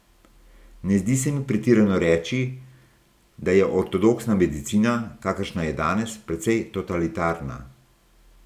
Ne zdi se mi pretirano reči, da je ortodoksna medicina, kakršna je danes, precej totalitarna.